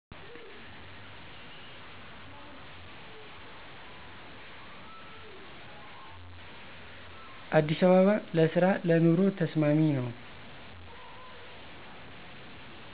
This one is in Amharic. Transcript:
አዲስ አበባ ለስራ ለኑሮ ተስማሚ ነው